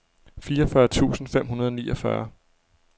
fireogfyrre tusind fem hundrede og niogfyrre